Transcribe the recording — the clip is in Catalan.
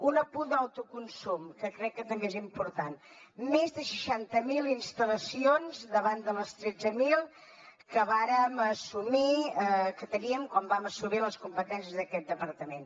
un apunt d’autoconsum que crec que també és important més de seixanta mil instal·lacions davant de les tretze mil que teníem quan vam assumir les competències d’aquest departament